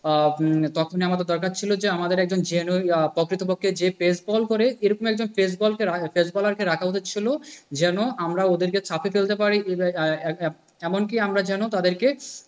আহ তখনই আমাদের দরকার ছিল যে আমাদের একজন genuine প্রকৃতপক্ষে যে pressbowl করে এরকম একজন pressbowl pressbowler কে রাখা উচিত ছিল। যেন আমরা ওদের কে চাপে ফেলতে পারি। এমন কি আমরা যেন তাদেরকে,